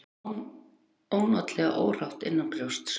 Mér var ónotalega órótt innanbrjósts.